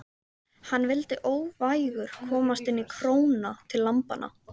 Hann vildi óvægur komast inn í króna til lambanna.